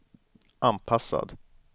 anpassad